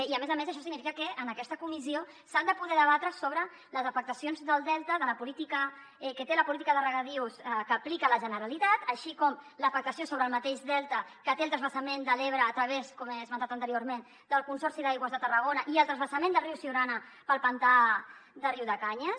i a més a més això significa que en aquesta comissió s’ha de poder debatre sobre les afectacions del delta que té la política de regadius que aplica la generalitat així com l’afectació sobre el mateix delta que té el transvasament de l’ebre a través com he esmentat anteriorment el consorci d’aigües de tarragona i el transvasament del riu siurana pel pantà de riudecanyes